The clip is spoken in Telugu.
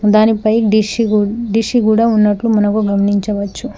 దానిపై డిష్ గూ డిస్సు గూడ ఉన్నట్లు మనకు గమనించవచ్చు.